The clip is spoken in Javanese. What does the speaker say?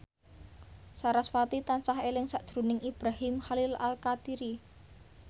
sarasvati tansah eling sakjroning Ibrahim Khalil Alkatiri